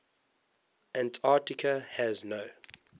antarctica has no